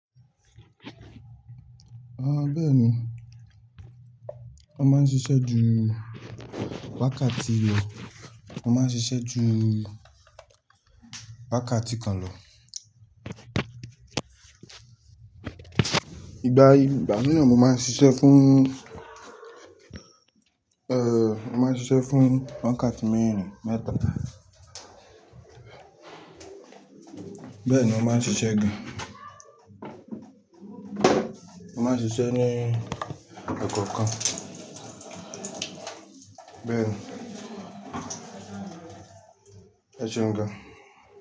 Bẹ́ẹ̀ni wón ma n ṣisẹ́ ju wákàtí lọ, mo máa ń ṣisẹ́ ju wákàtí kan lọ. Ìgbà mìíràn mo máa ń ṣisẹ́ fún, mo máa n ṣisẹ́ fún wákàtí mẹ́rin, mẹ́ta. Bẹ́ẹ̀ni mo máa n ṣisẹ́ gan, mo máa ń ṣisẹ́ ni ẹ̀ẹ̀kọ̀ọ̀kan. Bẹ́ẹ̀ni. Ẹ ṣeun gan-an.